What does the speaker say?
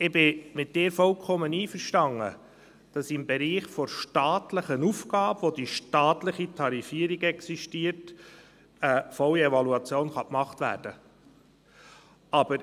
Ich bin mit dir vollkommen einverstanden, dass im Bereich von staatlichen Aufgaben, wo die staatliche Tarifierung existiert, eine volle Evaluation gemacht werden kann.